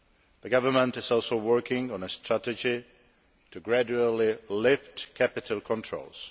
The government is also working on a strategy for the gradual lifting of capital controls.